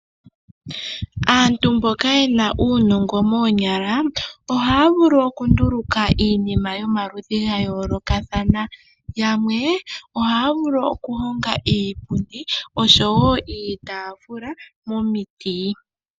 Aantu mboka ye na uunongo moonyala ohaya vulu okunduluka iinima yomaludhi ga yoolokathana, yamwe ohaya vulu okuhonga iipundi osho wo iitaafula momiti.